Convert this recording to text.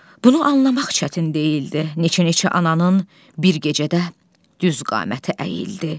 Bunu anlamaq çətin deyildi, neçə-neçə ananın bir gecədə düz qaməti əyildi.